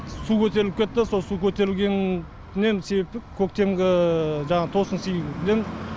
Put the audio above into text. су көтеріліп кетті сол су көтерілгеннен себепті көктемгі жаңағы тосынсыйден